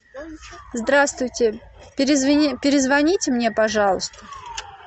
здравствуйте перезвоните мне пожалуйста